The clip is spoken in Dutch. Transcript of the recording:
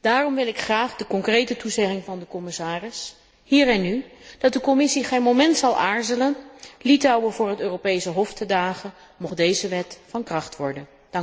Daarom wil ik graag de concrete toezegging van de commissaris, hier en nu, dat de Commissie geen moment zal aarzelen Litouwen voor het Europese Hof te dagen, mocht deze wet van kracht worden.